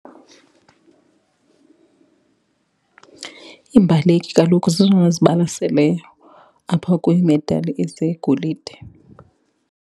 Iimbaleki kaloku zezona zibalaseleyo apha kwiimedali ezegolide.